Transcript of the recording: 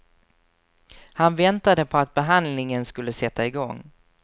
Han väntade på att behandlingen skulle sätta igång.